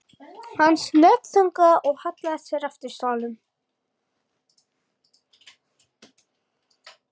Hann snöggþagnaði og hallaði sér aftur í stólnum.